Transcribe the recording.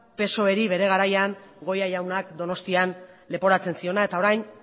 psoeri bere garaian goia jaunak donostian leporatzen ziona eta orain